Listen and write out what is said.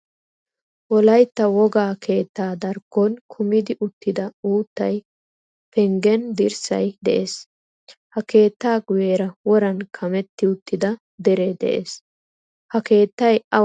Wolaytta wogaa keettaa darkkon kumidi uttida uuttay, penggen dirssay de'ees. Ha keetta guyera woran kametti uttida dere de'ees. Ha keettay awa heeran awan dei?